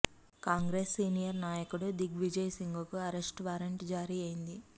Congress senior నాయకుడు దిగ్విజయ్ సింగ్ కు arrest warrant జారీ అయ్యింది